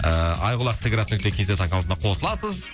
ыыы айқұлақ т град нүкте кз аккаунтына қосыласыз